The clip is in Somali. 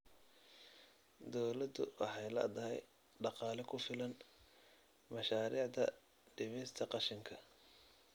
Dawladdu waxay la'dahay dhaqaale ku filan mashaariicda dhimista qashinka.